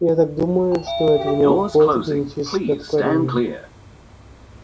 я так думаю что это у него какое-то генетическое отклонение